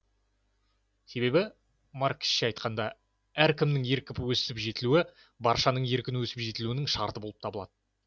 себебі марксше айтқанда әркімнің еркін өсіп жетілуі баршаның еркін өсіп жетілуінің шарты болып табылады